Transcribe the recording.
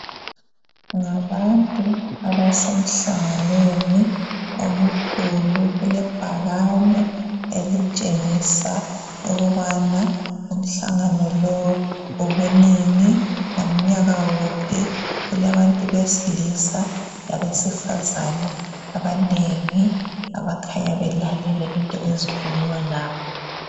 Ngabantu abasemhlanganweni omkhulu. Kulebhakane elitshengisa ukubana umhlangano lowu ubunini, ngomnyaka wuphi kulabantu besilisa labesifazana abanengi abakhanya belalele izinto ezikhulunywa lapho